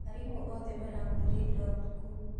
Arimũ othe marakuire ira ũtukũ.